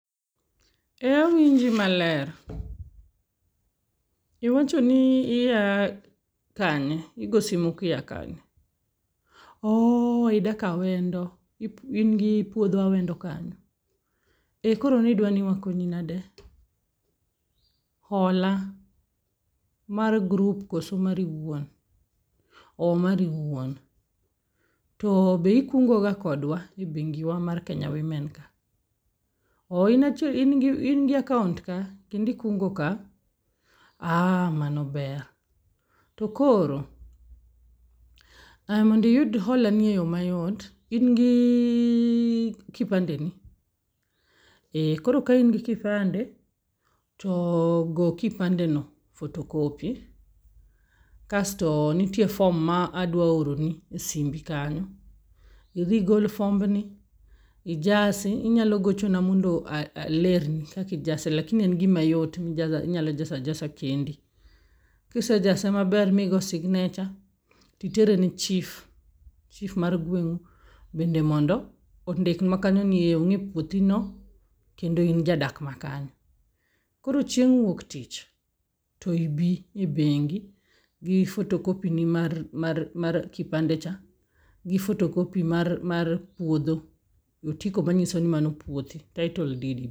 Ee awinji maler, iwacho ni ia kanye? Igo simu kia kanye? Ooh, idak Awendo, in gi puodho Awendo kanyo? Ee, koro nidwa ni wakonyi nade? Hola mar grup koso mari iwuon? Ooh, mari iwuon? To be ikungo ga kodwa e bengi wa mar Kenya wimen ka? Oh i achie in gi akaont ka kendi kungo ka? Ah, mano ber. To koro, ah mondiyud hola ni e yo mayot, in gi kipande ni? E koro ka in gi kipande, to go kipande no photocopy, kasto nitie fom ma adwa oroni e simbi kanyi. Idhi igol fomni, ijasi, inyalo gochona mondo alerni kakijase lakini en gima yot mijasa minyalo jasa jasa kendi. Kisejase maber migo signecha, titere ne Chif, chif mar gweng'u bende mondo ondikwa kanyo ni ong'e puothi no kendo in jadak ma kanyo. Koro chieng' wuok tich to ibi e bengi gi fotokopi ni mar mar kipande cha, gi fotokopi mar puodho, otiko manyiso ni mano puothi, taitol did.